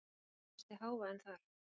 Það er mesti hávaðinn þar.